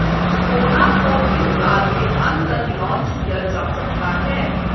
कोना को इस साल के अंत तक लॉन्च किया जा सकता है